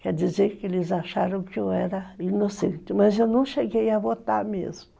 Quer dizer que eles acharam que eu era inocente, mas eu não cheguei a votar mesmo.